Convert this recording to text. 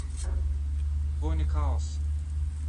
Dvojni kaos!